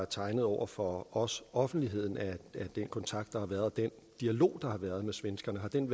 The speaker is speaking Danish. tegnet over for os offentligheden af den kontakt der har været og den dialog der har været med svenskerne har den